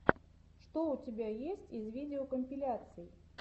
что у тебя есть из видеокомпиляций